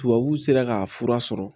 Tubabuw sera k'a fura sɔrɔ